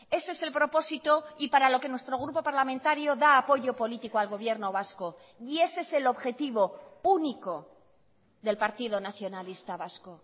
ese es el propósito y para lo que nuestro grupo parlamentario da apoyo político al gobierno vasco y ese es el objetivo único del partido nacionalista vasco